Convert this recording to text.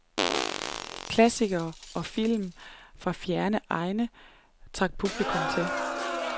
Klassikere og film fra fjerne egne trak publikum til.